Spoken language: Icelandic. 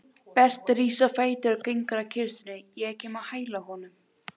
Berti rís á fætur og gengur að kistunni, ég kem á hæla honum.